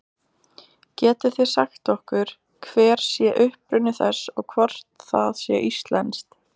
Getið þið sagt okkur hver sé uppruni þess og hvort það sé íslenskt?